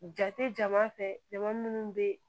Jate jama fɛ jama munnu bɛ